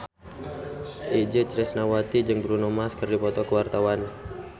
Itje Tresnawati jeung Bruno Mars keur dipoto ku wartawan